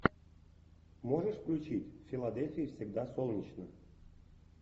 можешь включить в филадельфии всегда солнечно